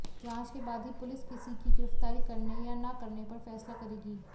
जांच के बाद ही पुलिस किसी की गिरफ्तारी करने या न करने पर फैसला करेगी